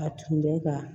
A tun bɛ ka